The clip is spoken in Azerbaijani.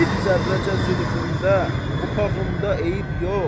Bir zərrəcə zülfündə, buxağında eyib yox.